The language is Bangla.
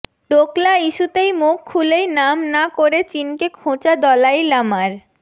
ডোকলা ইস্যুতে মুখ খুলেই নাম না করে চিনকে খোঁচা দলাই লামার